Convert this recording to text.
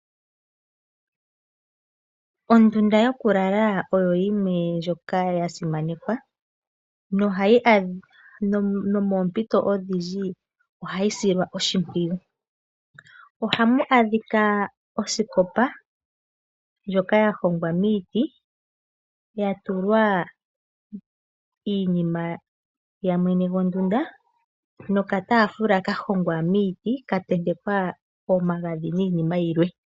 Ondunda yokulala ioyo yimwe ndjoka ya simanekwa nomoompito odhindji ohayi silwa oshimpwiyu. Ohamu adhika osikopa ndjoka ya hongwa miiti ya tulwa iinima ya mwene gondunda nokataafula ka hongwa miiti ka tentekwa omagadhi niinima yilwe.